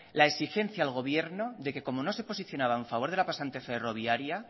la exigencia al gobierno de que como no se posicionaban a favor de la pasante ferroviaria